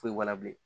Foyi b'a la bilen